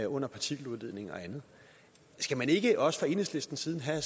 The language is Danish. under partikeludledning og andet skal man ikke også fra enhedslistens side have